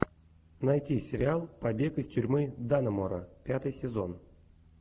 найти сериал побег из тюрьмы даннемора пятый сезон